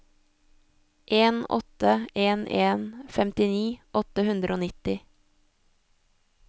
en åtte en en femtini åtte hundre og nitti